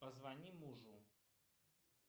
позвони мужу